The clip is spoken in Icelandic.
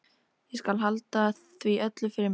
Ég skal halda því öllu fyrir mig.